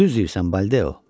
Düz deyirsən, Baldeo.